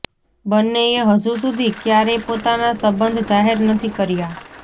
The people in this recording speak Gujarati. બંનેએ હજુ સુધી ક્યારેય પોતાના સંબંધ જાહેર નથી કર્યા